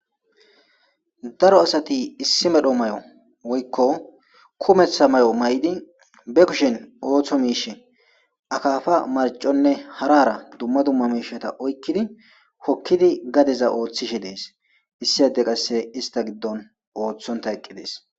Daro asati issi medho may7o woykko kumeththa may7o may7di be kushen ooththo miish akaafa marconne harara dumma dumma miisheta oykkidi hokkidi gadeza ooththishe dees issi hade qasse ista giddon ooththonta eqqidees.